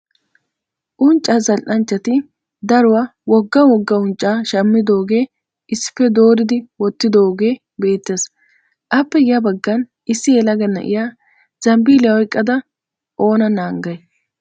Unccaa zal'anchchati daruwa wogga wogga unccaa shammidoogaa issippe dooridi wottidooge beettes. Appe ya baggan issi yelaga na'iya zambiliya oyiqada Oona naagay?